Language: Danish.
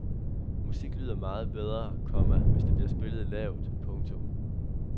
Musik lyder meget bedre, komma hvis det bliver spillet lavt. punktum